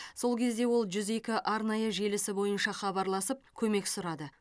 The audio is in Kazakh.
сол кезде ол жүз екі арнайы желісі бойынша хабарласып көмек сұрады